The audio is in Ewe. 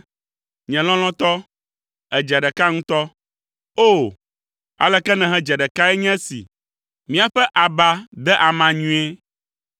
Nye lɔlɔ̃tɔ, èdze ɖeka ŋutɔ! O, aleke nèhedze ɖekae nye esi! Míaƒe aba de ama nyuie.